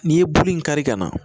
N'i ye bulu in kari ka na